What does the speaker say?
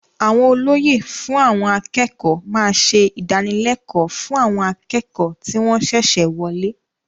Àwọn olóyè fún àwọn akẹ́kọ̀ọ́ máa ṣe ìdánilẹ́kọ̀ọ́ fún àwọn akẹ́kọ̀ọ́ tí wọn ṣẹ̀ṣẹ̀ wọlé.